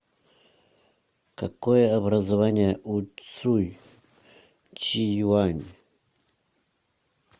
какое образование у цуй чжиюань